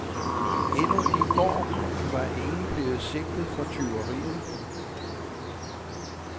Endnu i går var ingen blevet sigtet for tyveriet.